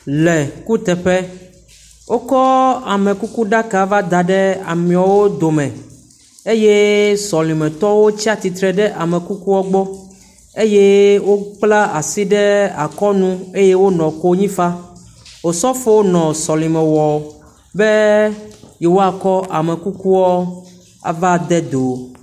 Le kuteƒe, wokɔ amekukuɖaka va da ɖe amewo dome eye sɔlemetɔwo tsi atsitre ɖe ame kukua gbɔ eye wokpla asi ɖe akɔ nu eye wonɔ konyi fam be yewoakɔ amekuku ava de do